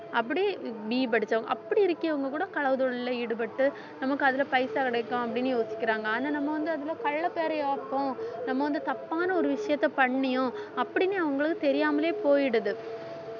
அப்படி BE படிச்சவங்க அப்படி இருக்கவங்க கூட களவு தொழில்ல ஈடுபட்டு நமக்கு அதுல பைசா கிடைக்கும் அப்படின்னு யோசிக்கிறாங்க ஆனா நம்ம வந்து அதுல நம்ம வந்து தப்பான ஒரு விஷயத்த பண்ணியும் அப்படின்னு அவங்களுக்கு தெரியாமலே போயிடுது